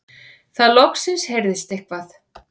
Þá loksins heyrðist eitthvað.